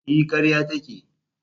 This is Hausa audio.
E, karya take.